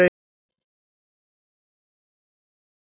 Liljurós, einhvern tímann þarf allt að taka enda.